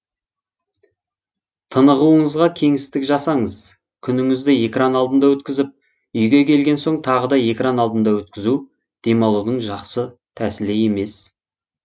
тынығуыңызға кеңістік жасаңыз күніңізді экран алдында өткізіп үйге келген соң тағы да экран алдында өткізу демалудың жақсы тәсілі емес